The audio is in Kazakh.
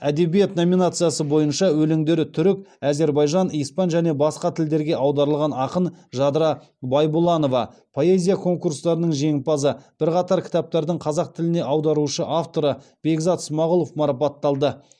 әдебиет номинациясы бойынша өлеңдері түрік әзербайжан испан және басқа тілдерге аударылған ақын жадыра байбұланова поэзия конкурстарының жеңімпазы бірқатар кітаптардың қазақ тіліне аударушы автор бекзат смағұлов марапатталды